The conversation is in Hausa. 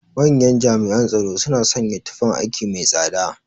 Manyan jami'an tsoro suna sanya tufan aiki mai tsada.